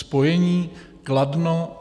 Spojení Kladno -